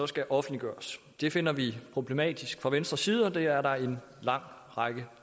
skal offentliggøres det finder vi problematisk fra venstres side og det er der en lang række